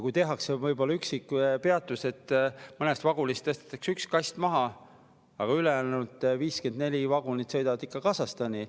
Kui tehakse, siis võib-olla mõni üksik peatus, kui mõnest vagunist tõstetakse üks kast maha, aga ülejäänud 54 vagunit sõidavad ikka Kasahstani.